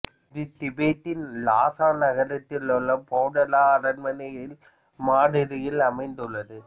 இது திபெத்தின் லாசா நகரத்தில் உள்ள பொடாலா அரண்மனையின் மாதிரியில் அமைந்துள்ளது